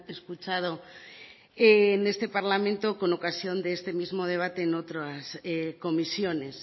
escuchado en este parlamento con ocasión de este mismo debate en otras comisiones